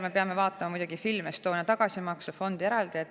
Me peame muidugi Film Estonia tagasimaksefondi eraldi vaatama.